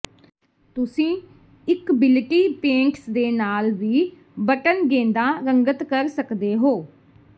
ਤੁਸੀਂ ਇਕਬਿਲਿਟੀ ਪੇਂਟਸ ਦੇ ਨਾਲ ਵੀ ਬਟਨ ਗੇਂਦਾਂ ਰੰਗਤ ਕਰ ਸਕਦੇ ਹੋ